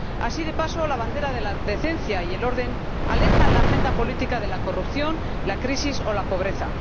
Así, de paso, la bandera de la decencia y el orden aleja la agenda política de la corrupción, la crisis o la pobreza.